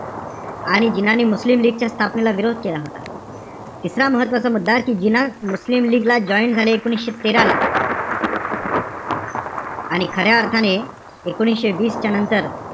आणि जिनांनी Muslim League च्या स्थापनेला विरोध केला होता. तिसरा महत्वाचा मुद्दाय कि जिना मुस्लिम लीग ला join झाले, एकोणीशे तेरा ला आणि खऱ्या अर्थाने एकोणीशे वीसच्या नंतर,